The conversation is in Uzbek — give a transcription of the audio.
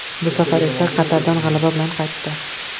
Bu safar esa Qatardan g‘alaba bilan qaytdi.